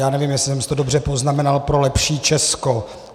Já nevím, jestli jsem si to dobře poznamenal - "pro lepší Česko".